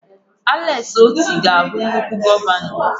Alex Otti ga-abụ nnukwu gọvanọ.